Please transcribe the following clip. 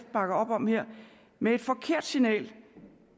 bakker op om her med et forkert signal